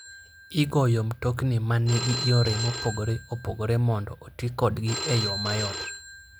Igoyo mtokni ma nigi yore mopogore opogore mondo oti kodgi e yo mayot.